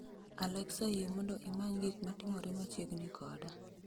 alexa yie mondo imany gik matimore machiegni koda